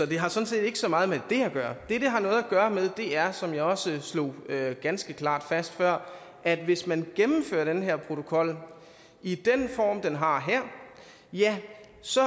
det har sådan set ikke så meget med det at gøre det det har noget at gøre med er som jeg også slog ganske klart fast før at hvis man gennemfører den her protokol i den form den har her ja så